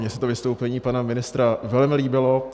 Mně se to vystoupení pana ministra velmi líbilo.